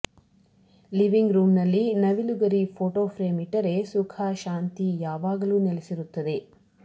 living room ನಲ್ಲಿ ನವಿಲು ಗರಿ ಫೋಟೋ ಫ್ರೇಮ್ ಇಟ್ಟರೆ ಸುಖ ಶಾಂತಿ ಯಾವಾಗಲೂ ನೆಲಸಿರುತ್ತದೆ